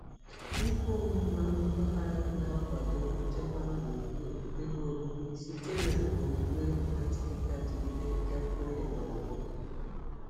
Ihe ọmụma mpaghara na-akwado nchekwa gburugburu ebe obibi site na omume na-adịgide adịgide gafere n'ọgbọ.